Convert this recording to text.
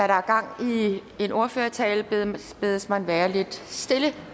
der er gang i en ordførertale bedes man være lidt stille